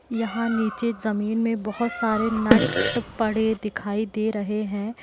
यहाँ नीचे जमीन में बहुत सारे नट पड़े दिखाई दे रहें हैं।